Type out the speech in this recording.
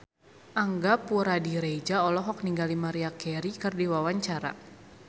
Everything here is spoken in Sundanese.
Angga Puradiredja olohok ningali Maria Carey keur diwawancara